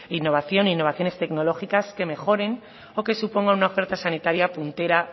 innovación y novaciones tecnológicas que mejores o que suponga una oferta sanitaria puntera